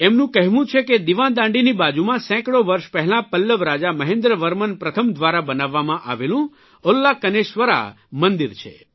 એમનું કહેવું છે કે દિવાદાંડીની બાજુમાં સેંકડો વર્ષ પહેલાં પલ્લવ રાજા મહેન્દ્ર વર્મન પ્રથમ દ્વારા બનાવવામાં આવેલું ઉન્નાકનેસ્વરા મંદિર છે